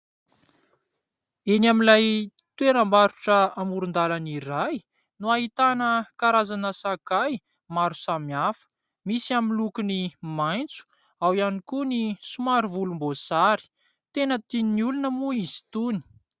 Eny amin'ilay toeram-barotra amoron-dalana iray no hahitana karazana sakay maro samihafa. Misy amin'ny lokony maitso, ao ihany koa ny somary volomboasary. Tena tian'olona moa izy itony.